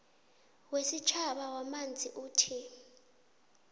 wesitjhaba wamanzi uthi